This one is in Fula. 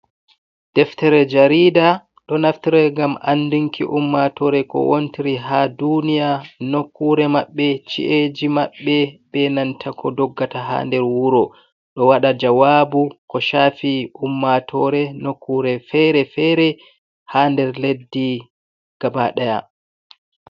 Deftere jarida ɗo nafitara gam andunki ummatore ko wontiri ha duniya, nokkure maɓɓe, ci’eji maɓɓe, be nanta ko doggata ha nder wuro, ɗo waɗa jawabu ko shafi ummatore nokkure fere-fere, ha nder leddi gabaɗaya.